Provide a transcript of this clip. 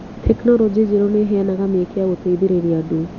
Tekinolonjĩ njerũ nĩ ĩheanaga mĩeke ya gũteithĩrĩria andũ.